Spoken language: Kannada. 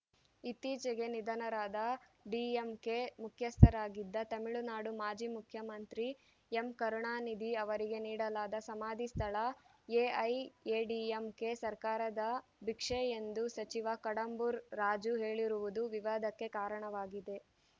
ಇತ್ತೀಚೆಗೆ ನಿಧನರಾದ ಡಿಎಂಕೆ ಮುಖ್ಯಸ್ಥರಾಗಿದ್ದ ತಮಿಳುನಾಡು ಮಾಜಿ ಮುಖ್ಯಮಂತ್ರಿ ಎಂಕರುಣಾನಿಧಿ ಅವರಿಗೆ ನೀಡಲಾದ ಸಮಾಧಿ ಸ್ಥಳ ಎಐಎಡಿಎಂಕೆ ಸರ್ಕಾರದ ಭಿಕ್ಷೆ ಎಂದು ಸಚಿವ ಕಡಂಬೂರ್‌ ರಾಜು ಹೇಳಿರುವುದು ವಿವಾದಕ್ಕೆ ಕಾರಣವಾಗಿದೆ